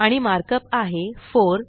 आणि मार्कअप आहे 4